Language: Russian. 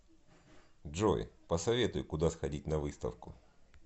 джой посоветуй куда сходить на выставку